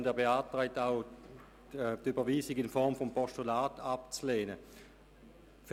Auch die Überweisung in Form eines Postulats lehnt er ab.